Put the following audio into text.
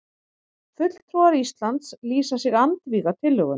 Fulltrúar Íslands lýsa sig andvíga tillögunum